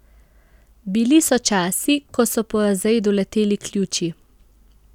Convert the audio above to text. Bili so časi, ko so po razredu leteli ključi.